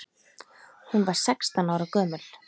Hún var sextán ára gömul.